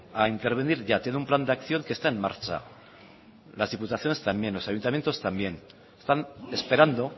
a intervenir ya tiene un plan de acción que está en marcha las diputaciones también los ayuntamientos también están esperando